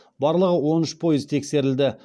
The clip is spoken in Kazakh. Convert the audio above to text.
барлығы он үш пойыз тексерілді